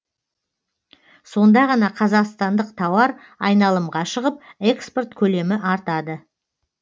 сонда ғана қазақстандық тауар айналымға шығып экспорт көлемі артады